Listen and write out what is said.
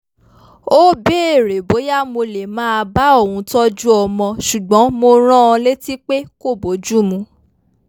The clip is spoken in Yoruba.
ó béèrè bóyá mo lè máa bá òun tọ́jú ọmọ ṣùgbọ́n mo rán an létí pé kò bójú mu